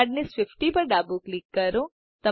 hardness 50 પર ડાબું click કરો